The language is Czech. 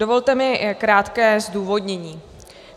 Dovolte mi krátké zdůvodnění.